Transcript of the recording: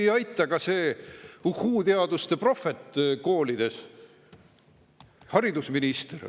Siin ei aita ka see uhhuu-teaduste prohvet koolides, haridusminister.